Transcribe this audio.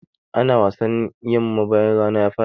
Ana wasannin yamma bayan rana ya faɗa.